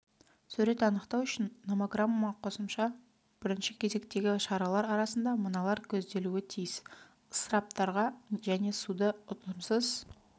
сурет анықтау үшін номограмма қосымша бірінші кезектегі шаралар арасында мыналар көзделуі тиіс ысыраптарға және суды ұтымсыз